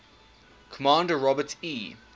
commander robert e